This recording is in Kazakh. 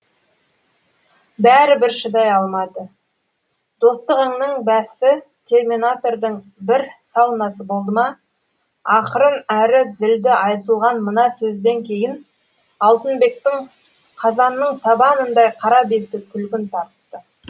бәрібір шыдай алмады достығыңның бәсі терминатордың бір саунасы болды ма ақырын әрі зілді айтылған мына сөзден кейін алтынбектің қазанның табанындай қара беті күлгін тартты